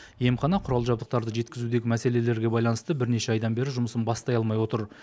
емхана құрал жабдықтарды жеткізудегі мәселелерге байланысты бірнеше айдан бері жұмысын бастай алмай отыр